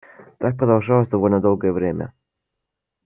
так продолжалось довольно долгое время